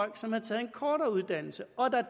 en som har taget en kortere uddannelse og at der